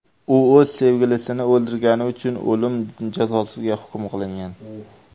U o‘z sevgilisini o‘ldirgani uchun o‘lim jazosiga hukm qilingan.